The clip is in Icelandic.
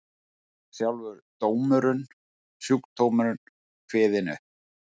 Sjálfur dómurinn, sjúkdómurinn kveðinn upp.